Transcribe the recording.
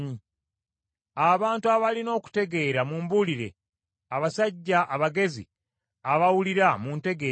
“Abantu abalina okutegeera mumbuulire, abasajja abagezi abawulira muntegeeze,